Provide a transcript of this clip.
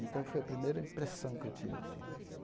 Então foi a primeira impressão que eu tive assim.